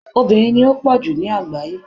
obìnrin ni o po ju ni agbaye